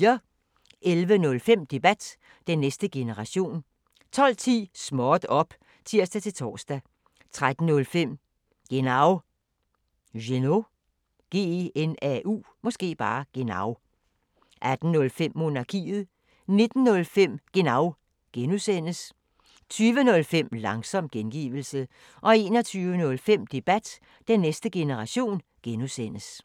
11:05: Debat: Den næste generation 12:10: Småt op! (tir-tor) 13:05: Genau 18:05: Monarkiet 19:05: Genau (G) 20:05: Langsom gengivelse 21:05: Debat: Den næste generation (G)